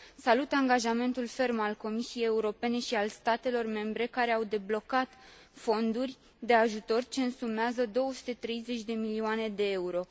Salut angajamentul ferm al Comisiei Europene și al statelor membre, care au deblocat fonduri de ajutor ce însumează 230 de milioane de euro.